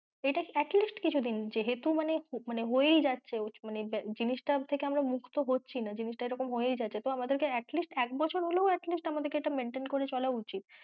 এটা at least কিছুদিন যেহেতু মানে, মানে হয়েই যাচ্ছে মানে জিনিসটার থেকে আমরা মুক্ত হচ্ছি না জিনিসটা এরকম হয়ে যাচ্ছে তো তাই আমাদেরকে at least এক বছর হলেও at least আমাদের কে এটা maintain করে চলা উচিৎ।